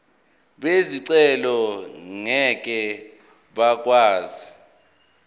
bezicelo ngeke bakwazi